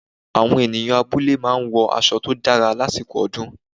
Àwọn ènìyàn abúlé máa ń wọ aṣọ tó dára lásìkò ọdún